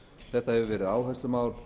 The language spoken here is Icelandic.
þetta hefur verið áherslumál